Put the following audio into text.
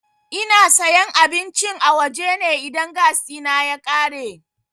Ina sayan abincin a waje ne idan gas ɗina ya ƙare.